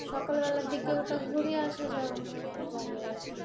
সকালবেলার দিকে ওটা ঘুরে আসা যাবে আবার। যাবে আর কি, "